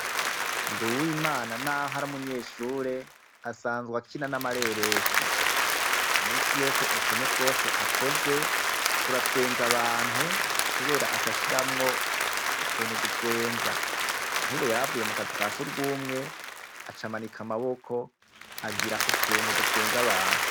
Nduwimana n'aho ari umunyeshure asanzwa akina n'amareresi. Misi yose utuntu twose akoze turatwenza abantu kubera acashiramwo utuntu dutwenza. Nkubu yaravuye mu kazu ka sugumwe acamanika amaboko agira utuntu dutwenza abantu.